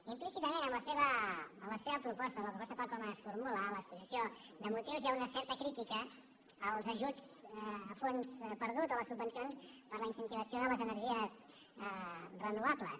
implícitament en la seva proposta en la proposta tal com es formula en l’exposició de motius hi ha una certa crítica als ajuts a fons perdut o a les subvencions per a la incentivació de les energies renovables